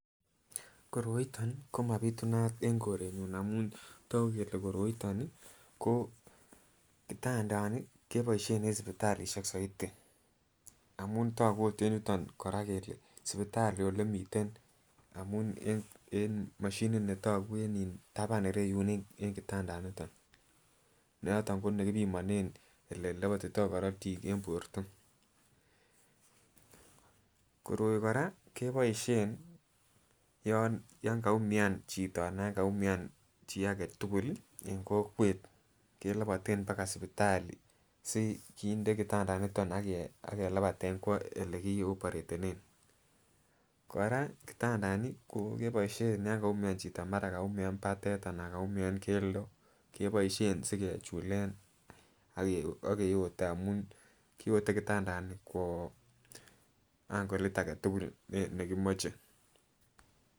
Koroiton ii komabitunat en korenyun amun toku kele koroiton ko kitandani keboishen en sipitalishek soiti amun toku okot en yuton kele sipititali ole miten amun en moshinit netoku en iin taban ireyun en kitandaniton noton ko nekipimonen ole lopotito korotik en borto. Koroi koraa keboishen yon kaumian chito anan yon kaumia chii agetukul en kokwet keloboten baka sipitali sikinde kitandaniton ak kelepaten kwo ole kioporetenen. Koraa kitandani keboishen yon kaumia chito mara kaumia patet anan kaumia keldo keboishen sikechulen ak keyote amun kiyote kitandani kwoo ankolit agetukul nekimoche.